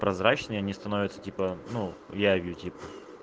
прозрачнее они становятся типа ну явью типа